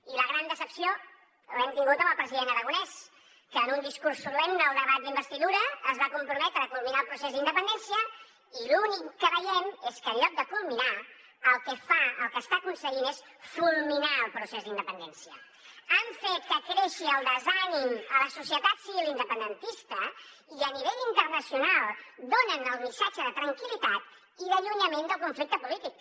i la gran decepció l’hem tingut amb el president aragonès que en un discurs solemne al debat d’investidura es va comprometre a culminar el procés d’independència i l’únic que veiem és que en lloc de culminar el que fa el que està aconseguint és civil independentista i a nivell internacional donen el missatge de tranquil·litat i d’allunyament del conflicte polític